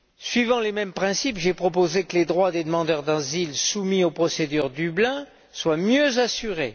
Suivant les mêmes principes, j'ai proposé que les droits des demandeurs d'asile soumis aux procédures de Dublin soient mieux assurés.